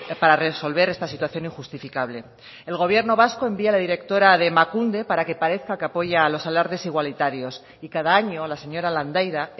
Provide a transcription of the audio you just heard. para resolver esta situación injustificable el gobierno vasco envía a la directora de emakunde para que parezca que apoya a los alardes igualitarios y cada año la señora landaida